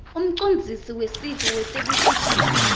umcondzisi wesive wetekushushisa